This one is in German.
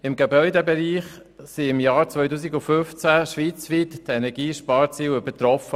Im Gebäudebereich wurden die Energiesparziele im Jahr 2015 schweizweit übertroffen.